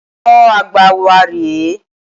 Olùkọ́ Àgbà wa rè é.